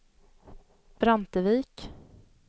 Brantevik